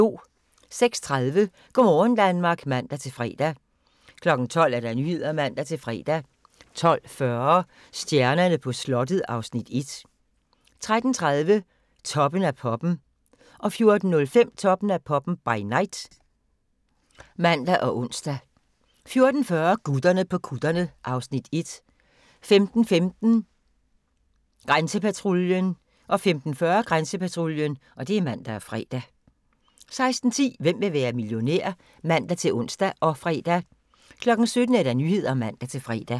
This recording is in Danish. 06:30: Go' morgen Danmark (man-fre) 12:00: Nyhederne (man-fre) 12:40: Stjernerne på slottet (Afs. 1) 13:30: Toppen af poppen 14:05: Toppen af poppen – by night (man og ons) 14:40: Gutterne på kutterne (Afs. 1) 15:15: Grænsepatruljen 15:40: Grænsepatruljen (man-fre) 16:10: Hvem vil være millionær? (man-ons og fre) 17:00: Nyhederne (man-fre)